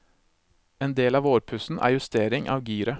En del av vårpussen er justering av giret.